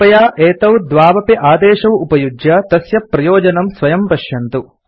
कृपया एतौ द्वौ अपि आदेशौ उपयुज्य तस्य प्रयोजनं स्वयं पश्यन्तु